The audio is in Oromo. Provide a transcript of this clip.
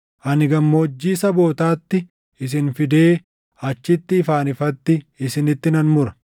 Ani gammoojjii sabootaatti isin fidee achitti ifaan ifatti isinitti nan mura.